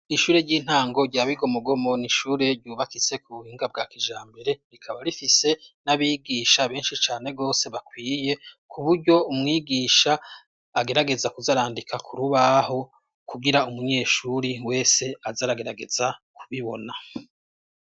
Ishure ry'intango rya Bigomogomo n'ishure ryubakitse ku buhinga bwa kijambere rikaba rifise n'abigisha benshi cane gose bakwiye kuburyo umwigisha agerageza kuzarandika kurubaho kugira umunyeshuri wese azaragerageza kubibona.